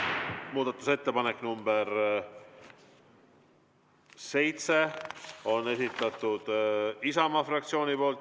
Muudatusettepanek nr 7 on Isamaa fraktsiooni esitatud.